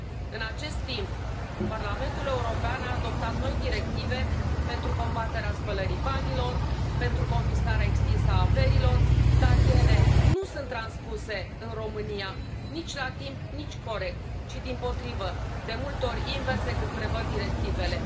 În acest timp, Parlamentul European a adoptat noi directive pentru combaterea spălării banilor, pentru confiscarea extinsă a averilor, dar ele nu sunt transpuse în România, nici la timp, nici corect, ci dimpotrivă, de multe ori invers decât prevăd directivele.